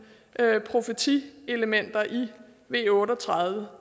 profetielementer i v otte og tredive